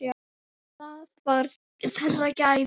Það var þeirra gæfa.